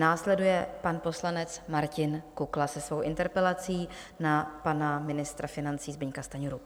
Následuje pan poslanec Martin Kukla se svou interpelací na pana ministra financí Zbyňka Stanjuru.